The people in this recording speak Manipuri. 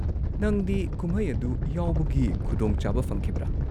ꯅꯪꯗꯤ ꯀꯨꯝꯍꯩ ꯑꯗꯨ ꯌꯥꯎꯕꯒꯤ ꯈꯨꯗꯣꯡꯆꯥꯕ ꯐꯪꯈꯤꯕ꯭ꯔꯥ?